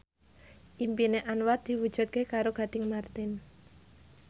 impine Anwar diwujudke karo Gading Marten